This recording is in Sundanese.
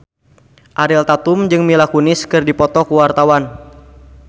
Ariel Tatum jeung Mila Kunis keur dipoto ku wartawan